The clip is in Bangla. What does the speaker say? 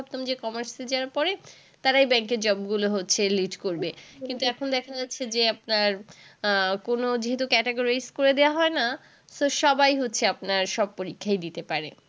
আগে আমরা ভাবতাম যে commerce এ যারা পড়ে তারাই bank এর job গুলোয় হচ্ছে lid করবে। কিন্তু এখন দেখা যাচ্ছে যে আপনার আহ কোন যেহেতু category করে দেওয়া হয় না তো সবাই হচ্ছে আপনার সব পরীক্ষাই দিতে পারে।